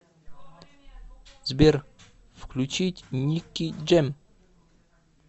сбер включить ники джэм